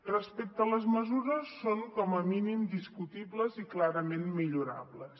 respecte a les mesures són com a mínim discutibles i clarament millorables